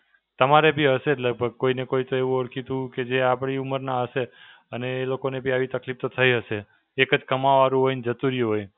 તમારે બી હશે જ લગભગ કોઈ ને કોઈ તો એવું ઓળખીતું કે જે આપડી ઉમરના હશે અને એ લોકોને બી આવી તકલીફ તો થઈ હશે. એક જ કમાવવા વાળું હોય ને જતું રહ્યું હોય.